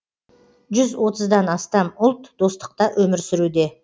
жүз отыздан астам ұлт достықта өмір сүруде